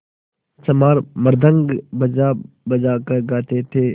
चमार मृदंग बजाबजा कर गाते थे